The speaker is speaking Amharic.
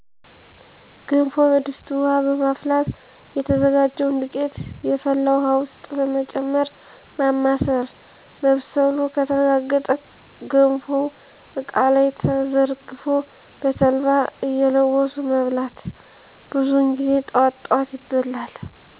ገንፎ በድስት ውሀ በማፍላት የተዘጋጀውን ዱቄት የፈላ ውሀ ውስጥ በመጨመር ማማሰል መብሰሉ ከተረጋገጠ ገንፎው እቃ ላይ ተዘርግፎ በተልባ እየለወሱ መብላት። ብዙውን ጊዜ ጠዋት ጠዋት ይበላል።